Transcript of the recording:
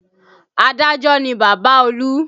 Adájọ́ ni Bàbá olú